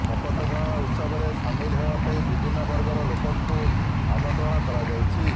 ଶପଥ ଗ୍ରହଣ ଉତ୍ସବରେ ସାମିଲ ହେବା ପାଇଁ ବିଭିନ୍ନ ବର୍ଗର ଲୋକଙ୍କୁ ଆମନ୍ତ୍ରଣ କରାଯାଇଛି